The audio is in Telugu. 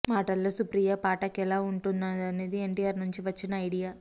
మాటల్లో సుప్రియ పాఠక్ ఎలా వుంటుదనేది ఎన్టిఆర్ నుంచి వచ్చిన ఐడియా